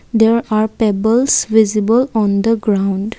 there are pebbles visible on the ground.